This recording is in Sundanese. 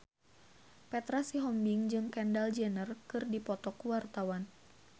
Petra Sihombing jeung Kendall Jenner keur dipoto ku wartawan